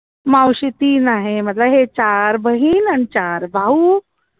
मावशी तीन आहे हे चार बहीण आणि चार भाऊ